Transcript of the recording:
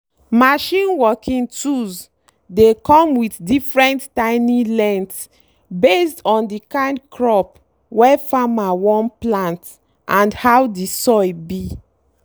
machine working tools dey come with different tiny length based on the kind crop wey farmer wan plant and how the soil be.